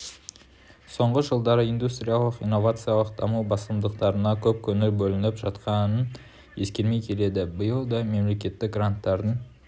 соңғы жылдары ндустриялық-инновациялық даму басымдықтарына көп көңіл бөлініп жатқанын ескермей келеді биыл да мемлекеттік гранттардың